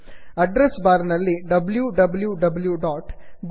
address bar ನಲ್ಲಿ W W